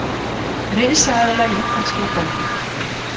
Risaeðla í ítalskri dómkirkju